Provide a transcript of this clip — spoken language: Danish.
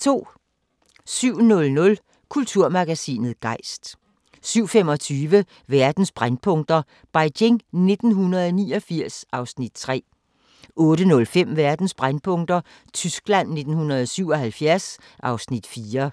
07:00: Kulturmagasinet Gejst 07:25: Verdens brændpunkter: Beijing 1989 (Afs. 3) 08:05: Verdens brændpunkter: Tyskland 1977 (Afs. 4)